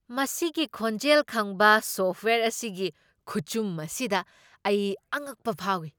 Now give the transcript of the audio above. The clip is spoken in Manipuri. ꯃꯁꯤꯒꯤ ꯈꯣꯟꯖꯦꯜ ꯈꯪꯕ ꯁꯣꯐꯋꯦꯌꯔ ꯑꯁꯤꯒꯤ ꯈꯨꯆꯨꯝ ꯑꯁꯤꯗ ꯑꯩ ꯑꯉꯛꯄ ꯐꯥꯎꯏ꯫